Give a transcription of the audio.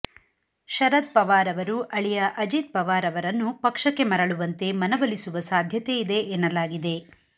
ಶರದ್ ಪವಾರ್ ಅವರು ಅಳಿಯ ಅಜಿತ್ ಪವಾರ್ ಅವರನ್ನು ಪಕ್ಷಕ್ಕೆ ಮರಳುವಂತೆ ಮನವೊಲಿಸುವ ಸಾಧ್ಯತೆಯಿದೆ ಎನ್ನಲಾಗಿದೆ